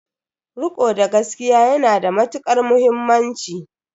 Riko da gaskiya ya na da matuƙar muhimmanci.